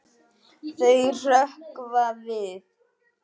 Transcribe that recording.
Þau hrökkva við.